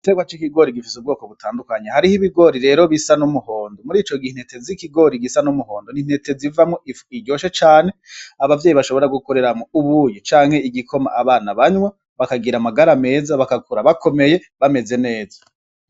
Igiterwa c'ikigori gifise ubwoko butandukanye. Hariho ibigori rero bisa n'umuhondo. Murico gihe intete z'ibigori zisa n'umuhondo ni intete ziryoshe cane. Abavyeyi bashobora gukoramwo ubuyi canke igikoma abana banywa, bakagira amagara meza, bagakura bakomeye, bameze neza.